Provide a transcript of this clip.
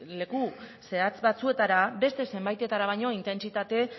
leku zehatz batzuetara beste zenbaitetara baino intentsitate